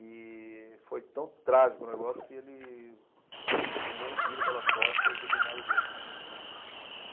E foi tão trágico o negócio que ele tomou um tiro pelas costas do cunhado dele.